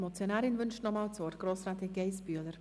Die Motionärin hat nochmals das Wort.